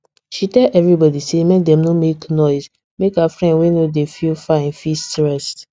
she tell everybody say make dem no make noise make her friend wey no dey feel fine fit rest